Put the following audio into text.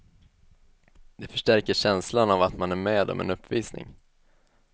Det förstärker känslan av att man är med om en uppvisning.